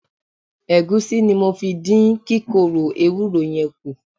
Ẹ̀gúsí ni mo fi dín kíkorò ewúró yẹn kù.